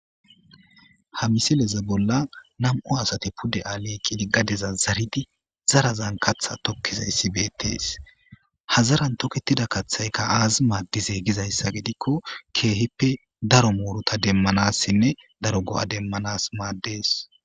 Ha misileza bolla nam'o asate pude aaleyqqidi gadeza zaridi zarazan katha tokkizayssi beettees hazaran toketida kaththaykka aazi maaddize gizayssa gidikko keehippe daro moorota demmanassinne daro go'a demmanas maaddees.